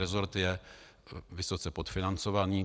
Resort je vysoce podfinancovaný.